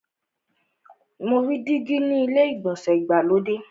Mo rí dígí ni ilé ìgbọ̀nsẹ̀ ìgbàlódé.